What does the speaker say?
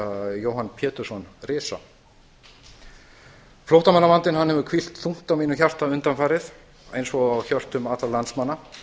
jóhann pétursson risa flóttamannavandinn hefur hvílt þungt á mínu hjarta undanfarið eins og á hjörtum allra landsmanna það